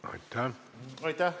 Aitäh!